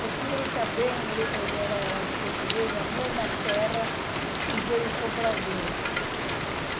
Porque ele também, ele ele era português da mesma terra e veio para o Brasil.